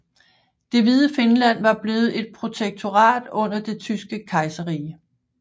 Det hvide Finland var blevet et protektorat under det tyske kejserrige